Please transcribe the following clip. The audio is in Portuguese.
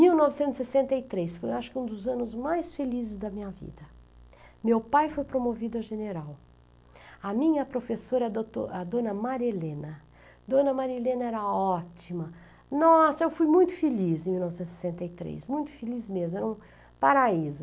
Em mil novecentos e sessenta e três, foi acho que um dos anos mais felizes da minha vida, meu pai foi promovido a general, a minha professora, a douto a dona Marilena, dona Marilena era ótima, nossa, eu fui muito feliz em mil novecentos e sessenta e três, muito feliz mesmo, era um paraíso.